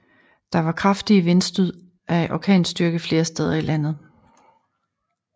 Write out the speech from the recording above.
Der var kraftige vindstød af orkanstyrke flere steder i landet